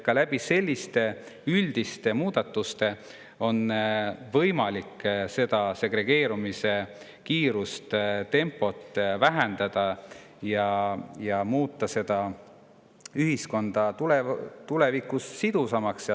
Ka selliste üldiste on võimalik segregeerumise kiirust, tempot vähendada ja muuta ühiskond tulevikus sidusamaks.